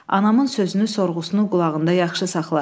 Anamın sözünü, sorğusunu qulağında yaxşı saxla.